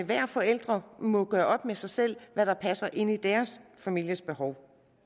hver forælder må gøre op med sig selv hvad der passer ind i deres families behov